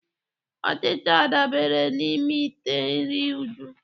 Ọchịcha dabara n'ime ite nri Uju.